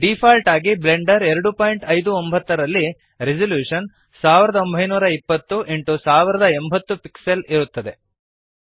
default ಆಗಿ Blender 259 ನಲ್ಲಿ resolution 1920 x 1080 pixels ಇರುತ್ತದೆ